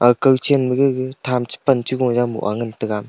akao chan ma gaga tham chu pan chu moa ngan tega.